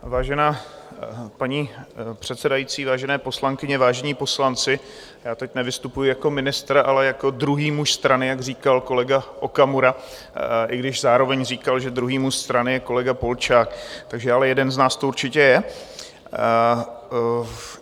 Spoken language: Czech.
Vážená paní předsedající, vážené poslankyně, vážení poslanci, já teď nevystupuji jako ministr, ale jako druhý muž strany, jak říkal kolega Okamura, i když zároveň říkal, že druhý muž strany je kolega Polčák, takže ale jeden z nás to určitě je.